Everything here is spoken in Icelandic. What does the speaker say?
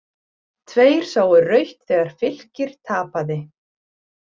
Tveir sáu rautt þegar Fylkir tapaði